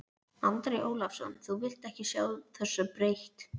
Andri Ólafsson: Þú vilt ekki sjá þessu breytt?